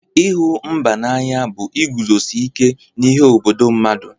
Ịhụ mba n'anya bụ iguzosi ike n'ihe obodo mmadụ.